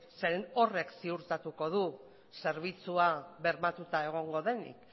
zeren eta horrek ziurtatuko du zerbitzua bermatuta egongo denik